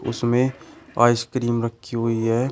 उसमें आइसक्रीम रखी हुई है।